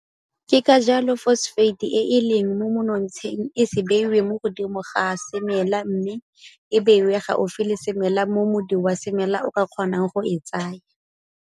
Ke ka jalo fosofate e e leng mo monotsheng e se beiwe mo godimo ga semela mme e beiwe gaufi le semela mo modi wa semela o ka kgonang go e tsaya.